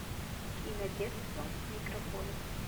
кинодетство микрополис